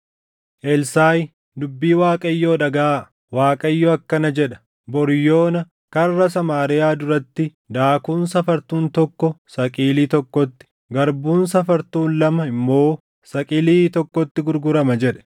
Elsaaʼi, “Dubbii Waaqayyoo dhagaʼaa. Waaqayyo akkana jedha: Bor yoona karra Samaariyaa duratti daakuun safartuun tokko saqilii tokkotti, garbuun safartuun lama immoo saqilii tokkotti gurgurama” jedhe.